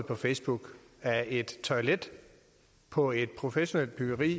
på facebook af et toilet på et professionelt byggeri